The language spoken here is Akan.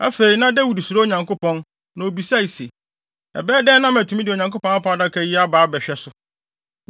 Afei, na Dawid suro Onyankopɔn, na obisae se, “Ɛbɛyɛ dɛn na matumi de Onyankopɔn Apam Adaka yi aba abɛhwɛ so?”